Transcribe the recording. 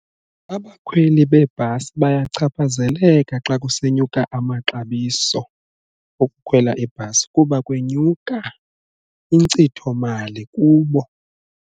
Abakhweli bebhasi bayachaphazeleka xa kusenyuka amaxabiso okukhwela ibhasi kuba kwenyuka inkcithomali kubo.